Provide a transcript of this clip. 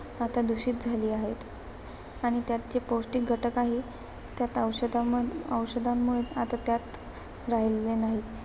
आता दूषित झालेली आहेत. आणि त्यात जे पौष्टिक घटक आहेत, त्यात औषधाऔषधांमुळे आता त्यात राहिलेले नाहीत.